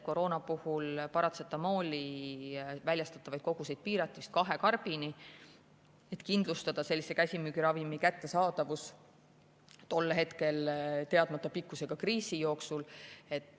Koroona ajal piirati paratsetamooli väljastatavaid koguseid kahe karbini, et kindlustada selle käsimüügiravimi kättesaadavus tol hetkel teadmata pikkusega kriisi jooksul.